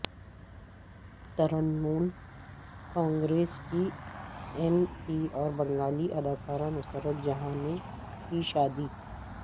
ترنمول کانگریس کی M P اور بنگالی اداکارہ نصرت جہاں نے کی شادی